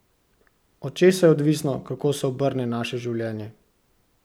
Od česa je odvisno, kako se obrne naše življenje?